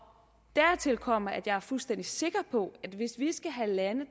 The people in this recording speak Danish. dertil kommer at jeg er fuldstændig sikker på at hvis vi skal have lande